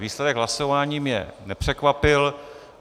Výsledek hlasování mě nepřekvapil.